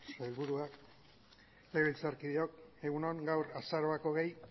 sailburuak legebiltzarkideok egun on gaur azaroak hogei